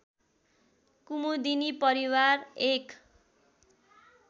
कुमुदिनी परिवार एक